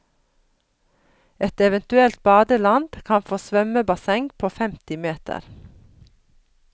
Et eventuelt badeland kan få svømmebasseng på femti meter.